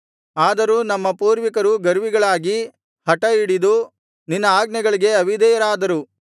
ಆದರೂ ನಮ್ಮ ಪೂರ್ವಿಕರು ಗರ್ವಿಗಳಾಗಿ ಹಠಹಿಡಿದು ನಿನ್ನ ಆಜ್ಞೆಗಳಿಗೆ ಅವಿಧೇಯರಾದರು